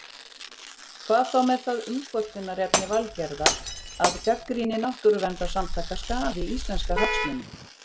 Hvað þá með það umkvörtunarefni Valgerðar að gagnrýni náttúruverndarsamtaka skaði íslenska hagsmuni?